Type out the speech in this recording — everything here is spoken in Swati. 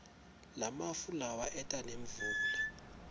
lamafu lawa eta nemvula